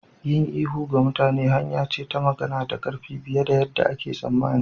Yin ihu ga mutane hanya ce ta magana da ƙarfi fiye da yarda ake tsammani.